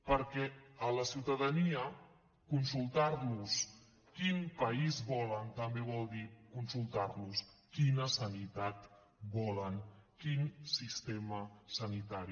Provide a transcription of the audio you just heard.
perquè a la ciutadania consultar los quin país volen també vol dir consultar los quina sanitat volen quin sistema sanitari